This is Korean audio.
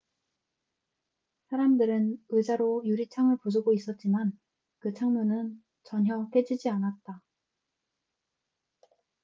사람들은 의자로 유리창을 부수고 있었지만 그 창문은 전혀 깨지지 않았다